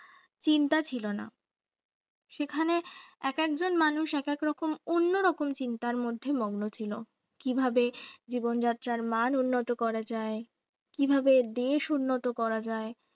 চিন্তা ছিল না সেখানে একেক জন মানুষ একা একরকম অন্যরকম চিন্তার মধ্যে মগ্ন ছিল কিভাবে জীবন যাত্রার তার মান উন্নত করা যায় কিভাবে দেশ উন্নত করা যায়